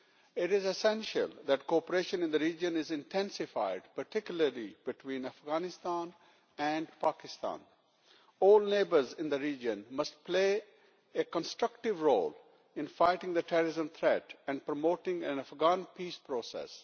It is essential that cooperation in the region be intensified, particularly between Afghanistan and Pakistan. All neighbours in the region must play a constructive role in fighting the terrorism threat and promoting an Afghan peace process.